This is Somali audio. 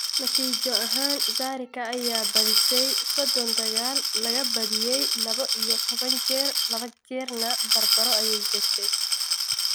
Natiijo ahaan, Zarika ayaa badisay sodoon dagaal, laga badiyay labo iyo tobaan jeer, laba jeerna barbaro ayay gashay.